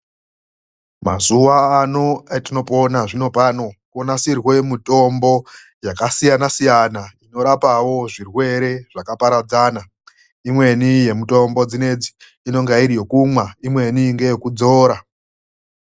MAZUWA ANO ATINOPONA ZVINO PANO ONASIRWE MITOMBO INORAPA ZVIRWERE ZVAKAPARADZANA. IMWENI YEMITOMBO DZINEDZI INENGE IRI YEKUMWA IMWENI YEKUDZORA